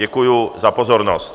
Děkuji za pozornost.